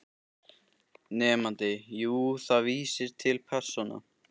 Nemandi: Jú, það vísar til persóna